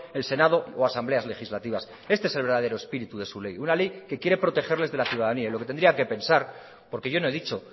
el senado o asambleas legislativas este es el verdadero espíritu de su ley una ley que quiere protegerles de la ciudadanía y lo que tendría que pensar porque yo no he dicho